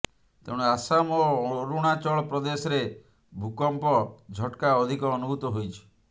ତେଣୁ ଆସାମ ଓ ଅରୁଣାଚଳ ପ୍ରଦେଶରେ ଭୂକମ୍ପ ଝଟ୍କା ଅଧିକ ଅନୁଭୂତ ହୋଇଛି